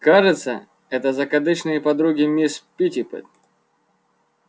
кажется это закадычные подруги мисс питтипэт